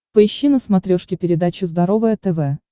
поищи на смотрешке передачу здоровое тв